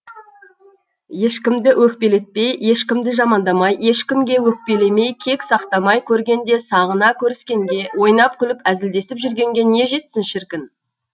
ешкімді өкпелетпей ешкімді жамандамай ешкімге өкпелемей кек сақтамай көргенде сағына көріскенге ойнап күліп әзілдесіп жүргенге не жетсін шіркін